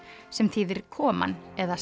sem þýðir koman eða